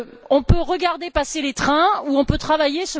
On peut regarder passer les trains ou on peut travailler.